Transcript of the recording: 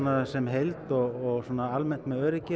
sem heild og almennt með öryggið